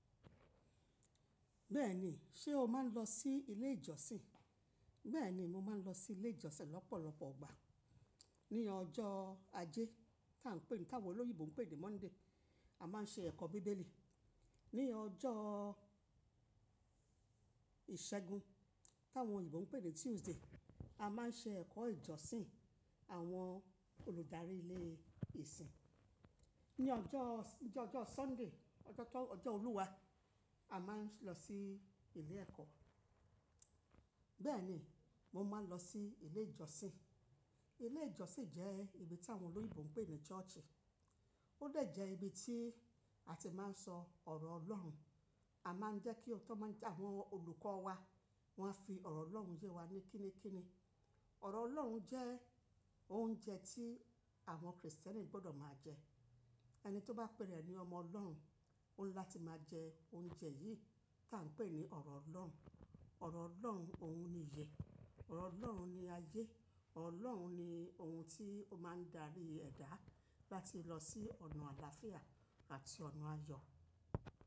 Bẹ́ẹ̀ni, ṣe o máa ń lọ sí ilé ìjọsìn? Bẹ́ẹ̀ni, mo máa ń lọ sí ilé ìjọsìn lọ́pọ̀lọpọ̀ ọligbà. Ní ọjọ́ ajé tá ń pè ní táwọn olóyììbo ń pè ní Monday, a máa ń ṣe ẹ̀kọ́ bíbélì. Ní ọjọ́ ìṣẹ́gun táwọn oyinbo ń pè ní Tuesday, a máa ń ṣe ẹ̀kọ́ ìjọsìn àwọn olùdarí ilé ìsìn. Ní ọjọ́, ní ọjọ́ Sunday, ọjọ́ tó, ọjọ́ Olúwa, a máa ń lọ sí ilé ẹ̀kọ́. Bẹ́ẹ̀ni, mo máa ń lọ sí ilé ìjọsìn. Ilé ìjọsìn jẹ́ ibi tí àwọn olóyììbo ń pè ní church. Ó dè jẹ́ ibi tí a ti máa ń sọ ọ̀rọ̀ Ọlọ́run. A máa ń jẹ́ kí ọ̀tọ́ máa ń jẹ àwọn olùkọ́ wa wọ́n á fi ọ̀rọ̀ Ọlọ́run yé wa ní kini kini. Ọ̀rọ̀ Ọlọ́run jẹ́ oúnjẹ tí àwọn Kristẹni gbọdọ̀ máa jẹ. Ẹni tó bá pèra é ni ọmọ Ọlọ́run, ó ńi láti máa jẹ oúnjẹ yìí tá ń pè ní ọ̀rọ̀ Ọlọ́run. Ọ̀rọ̀ Ọlọ́run òun ni ìyè, ọ̀rọ̀ Ọlọ́run ni ayé, ọ̀rọ̀ Ọlọ́run ni ohun tí ó máa ń darí ẹ̀dá láti lọ sí ọ̀nà àlàáfíà àti ọ̀nà ayọ̀.